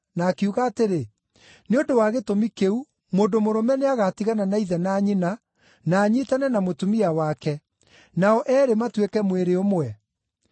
na akiuga atĩrĩ, ‘Nĩ ũndũ wa gĩtũmi kĩu mũndũ mũrũme nĩagatigana na ithe na nyina, na anyiitane na mũtumia wake, nao eerĩ matuĩke mwĩrĩ ũmwe’?